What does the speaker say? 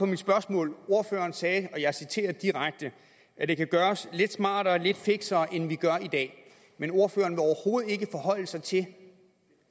mit spørgsmål ordføreren sagde og jeg citerer direkte at det kan gøres lidt smartere og lidt fiksere end vi gør i dag men ordføreren vil overhovedet ikke forholde sig til